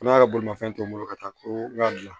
N'a ka bolimanfɛn to n bolo ka taa ko bila